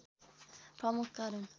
प्रमुख कारण